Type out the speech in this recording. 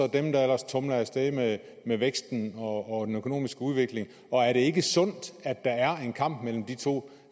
dem der ellers tumler af sted med med væksten og den økonomiske udvikling og er det ikke sundt at der er en kamp mellem de to